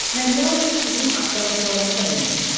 Mən yalnız sizin axtarışlarınıza ümid etmirəm.